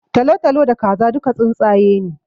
Talatalo da Kaza duka tsuntsaye ne